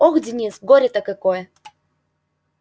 ох денис горе-то какое